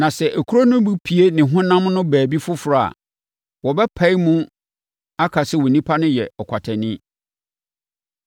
Na sɛ akuro no bi pue ne honam no baabi foforɔ a, wɔbɛpae mu ka sɛ onipa no yɛ ɔkwatani.